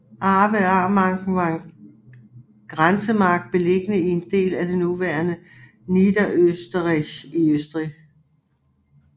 Avarermarken var en grænsemark beliggende i en del af det nuværende Niederösterreich i Østrig